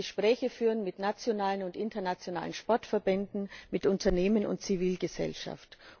Man muss Gespräche führen mit nationalen und internationalen Sportverbänden, mit Unternehmen und Zivilgesellschaft.